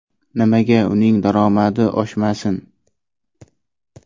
Nimaga uning daromadi oshmasin?